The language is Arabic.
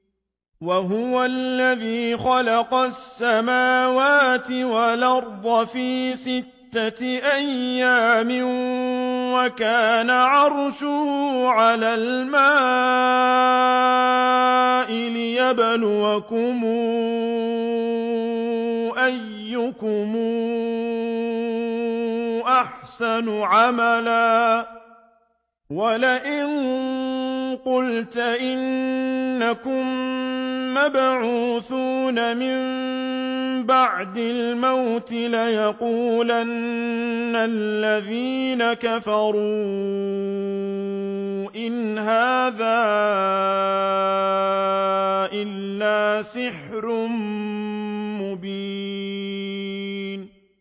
وَهُوَ الَّذِي خَلَقَ السَّمَاوَاتِ وَالْأَرْضَ فِي سِتَّةِ أَيَّامٍ وَكَانَ عَرْشُهُ عَلَى الْمَاءِ لِيَبْلُوَكُمْ أَيُّكُمْ أَحْسَنُ عَمَلًا ۗ وَلَئِن قُلْتَ إِنَّكُم مَّبْعُوثُونَ مِن بَعْدِ الْمَوْتِ لَيَقُولَنَّ الَّذِينَ كَفَرُوا إِنْ هَٰذَا إِلَّا سِحْرٌ مُّبِينٌ